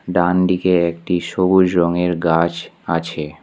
ডানদিকে একটি সবুজ রঙের গাছ আছে।